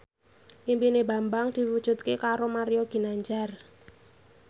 impine Bambang diwujudke karo Mario Ginanjar